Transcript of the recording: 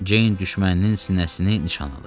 Ceyn düşməninin sinəsini nişan alır.